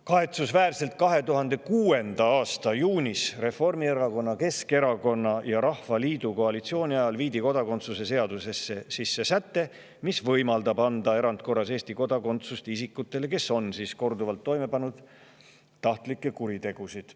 Kahetsusväärselt viidi 2006. aasta juunis Reformierakonna, Keskerakonna ja Rahvaliidu koalitsiooni ajal kodakondsuse seadusesse sisse säte, mis võimaldab erandkorras anda Eesti kodakondsuse isikule, kes on korduvalt toime pannud tahtlikke kuritegusid.